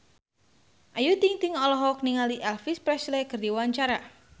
Ayu Ting-ting olohok ningali Elvis Presley keur diwawancara